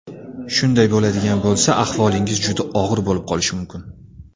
Shunday bo‘ladigan bo‘lsa, ahvolingiz juda og‘ir bo‘lib qolishi mumkin.